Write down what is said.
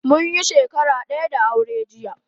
Munyi shakara daya da aure jiya